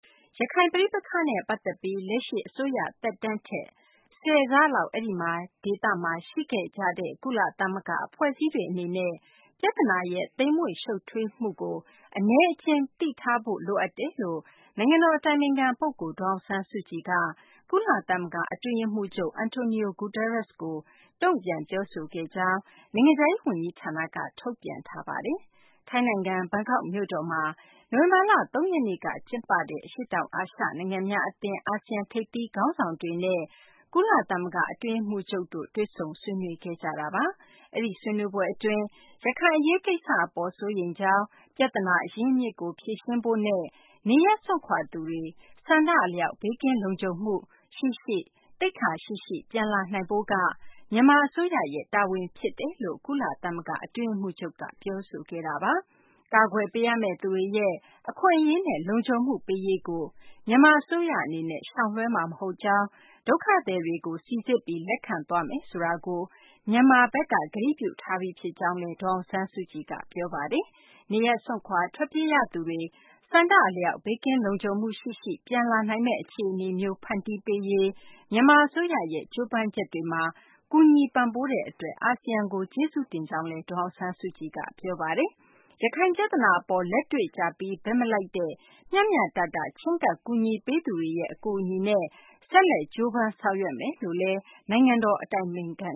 ရခိုင်ပဋိပက္ခနဲ့ ပတ်သက်ပြီး လက်ရှိအစိုးရ သက်တမ်းထက် ဆယ်ဆလောက် အဲဒီဒေသမှာ ရှိခဲ့ကြတဲ့ ကုလသမဂ္ဂ အဖွဲ့အစည်းတွေအနေနဲ့ ပြဿနာရဲ့ သိမ်မွေ့ ရှုပ်ထွေးမှုကို အနည်းအကျဉ်း သိထားဖို့ လိုအပ်ကြောင်း နိုင်ငံတော်အတိုင်ပင်ခံပုဂ္ဂိုလ် ဒေါ်အောင်ဆန်းစုကြည်က ကုလသမဂ္ဂ အတွင်းရေးမှူးချုပ် Antonio Guterres ကို တုံ့ပြန် ပြောဆိုခဲ့ကြောင်း နိုင်ငံခြားရေး ဝန်ကြီးဌာနက ထုတ်ပြန်ပါတယ်။ ထိုင်းနိုင်ငံ ဘန်ကောက်မြို့တော်မှာ နိုဝင်ဘာလ ၃ ရက်နေ့က ကျင်းပတဲ့ အရှေ့တောင်အာရှ နိုင်ငံများအသင်း ASEAN ထိပ်သီးခေါင်းဆောင်တွေနဲ့ ကုလသမဂ္ဂ အတွင်းရေးမှူးချုပ်တို့ တွေ့ဆုံ ဆွေးနွေးခဲ့ကြတာပါ။ အဲဒီဆွေးနွေးပွဲအတွင်း ရခိုင် အရေးကိစ္စအပေါ် စိုးရိမ်ကြောင်း၊ ပြဿနာ အရင်းအမြစ်ကို ဖြေရှင်းဖို့နဲ့ နေရပ်စွန့်ခွာသူတွေ ဆန္ဒအလျောက် ဘေးကင်းလုံခြုံမှုနဲ့ သိက္ခာရှိရှိ ပြန်လာနိုင်ရေးက မြန်မာအစိုးရရဲ့ တာဝန်ဖြစ်ကြောင်း ကုလသမဂ္ဂ အတွင်းရေးမှူးချုပ် Guterres က ပြောဆိုခဲ့တာပါ။ ကာကွယ်ပေးရမယ့်သူတွေရဲ့ အခွင့်အရေးနဲ့ လုံခြုံမှုပေးရေးကို မြန်မာအစိုးရအနေနဲ့ ရှောင်လွှဲမှာ မဟုတ်ကြောင်း၊ ဒုက္ခသည်တွေကို စိစစ်ပြီး လက်ခံသွားမယ် ဆိုတာကို မြန်မာဘက်က ကတိပြုထားပြီး ဖြစ်ကြောင်းလည်း ဒေါ်အောင်ဆန်းစုကြည်က ပြောဆိုခဲ့ပါတယ်။ နေရပ်စွန့်ခွာ ထွက်ပြေးရသူတွေ ဆန္ဒအလျောက် ဘေးကင်းလုံခြုံမှုရှိရှိ ပြန်လာနိုင်မယ့် အခြေအနေမျိုး ဖန်တီးပေးရေး မြန်မာအစိုးရရဲ့ ကြိုးပမ်းချက်တွေမှာ ကူညီပံ့ပိုးတဲ့ အတွက် အာဆီယံအဖွဲ့ကို ကျေးဇူးတင်ရှိကြောင်းလည်း ဒေါ်အောင်ဆန်းစုကြည်က ပြောပါတယ်။ ရခိုင်ပြဿနာအပေါ် လက်တွေ့ကျပြီး ဘက်မလိုက်ဘဲ မျှမျှတတ ချဉ်းကပ် ကူညီပေးသူတွေရဲ့ အကူအညီနဲ့ ဆက်လက်ကြိုးပမ်း ဆောင်ရွက်မယ်လို့လည်း နိုင်ငံတော်အတိုင်ပင်ခံ